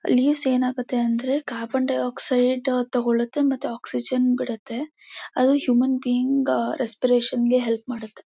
Leave ಸ್ ಏನಾಗುತ್ತೆ ಅಂದ್ರೆ ಕಾರ್ಬನ್ ಡೈಆಕ್ಸೈಡ್ ತಗೊಳುತ್ತೆ ಮತ್ತೆ ಆಕ್ಸಿಜನ್ ಬಿಡುತ್ತೆ ಅದು ಹ್ಯೂಮನ್ ಬೀಯಿಂಗ್ ರೆಸ್ಪಿರೇಷನ್ ಗೆ ಹೆಲ್ಪ್ ಮಾಡುತ್ತೆ.